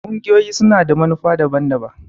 ƙungiyoyi su na da manufa daban-daban.